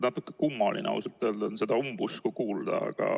Natuke kummaline on ausalt öelda seda umbusku kuulda.